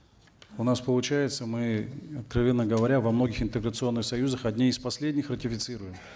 у нас получается мы откровенно говоря во многих интеграционных союзах одни из последних ратифицируем